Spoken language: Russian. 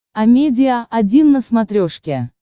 амедиа один на смотрешке